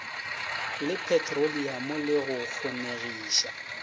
le petroliamo le go kgonegiša